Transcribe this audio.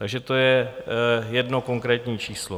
Takže to je jedno konkrétní číslo.